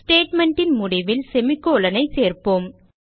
statement ன் முடிவில் semicolon ஐ சேர்ப்போம்